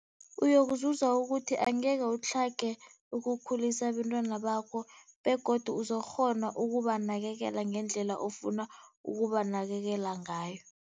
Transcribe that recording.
Uyokuzuza ukuthi angeke utlhage ukukhulisa abentwana bakho begodu uzokukghona ukubanakekela ngendlela ofuna ukubanakekela ngayo.